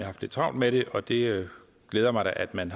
haft lidt travlt med det og det glæder mig da at man